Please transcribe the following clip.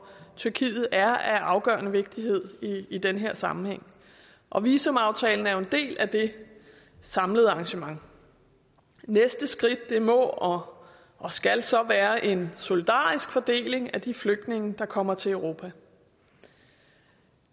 tyrkiet er af afgørende vigtighed i den her sammenhæng og visumaftalen er jo en del af det samlede arrangement næste skridt må og skal så være en solidarisk fordeling af de flygtninge der kommer til europa